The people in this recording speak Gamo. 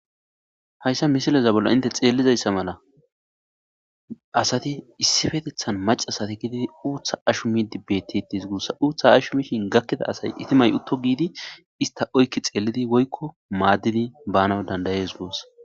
Hayssa misileza bolla hintte xelliza mala asati issippeteththan macashatti gididi uuththa hashumidi bettetetes guussa uuththa hashumishin gakkida itimat uuto gidi ista oykki xellidi woykko maadidi banaw dandayes guussa